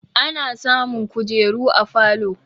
Ana samun kujeru a falo